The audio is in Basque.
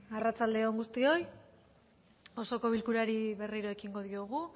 arratsalde on guztioi osoko bilkurari berriro ekingo diogu